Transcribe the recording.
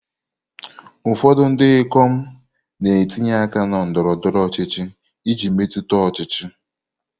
Ụfọdụ ndị ikom na-etinye aka na ndọrọ ndọrọ ọchịchị iji metụta ọchịchị.